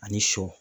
Ani sɔ